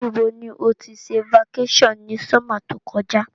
Ní bo ni o ti se vacation ni summer to kojá